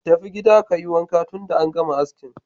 Tafi gida ka yi wanka, tunda an gama asking.